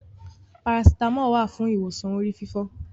Parasítámọ̀ wà fún ìwòsàn orí fífọ́.